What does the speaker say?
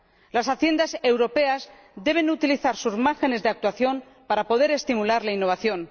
Las Haciendas europeas deben utilizar sus márgenes de actuación para poder estimular la innovación.